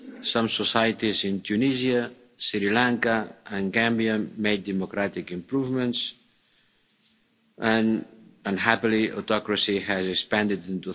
Some societies in Tunisia, Sri Lanka and Gambia made democratic improvements and, unhappily, autocracy has expanded in